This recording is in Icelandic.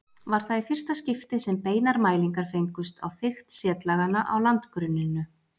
Var það í fyrsta skipti sem beinar mælingar fengust á þykkt setlaganna á landgrunninu.